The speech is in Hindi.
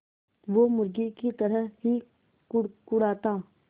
वो मुर्गी की तरह ही कुड़कुड़ाता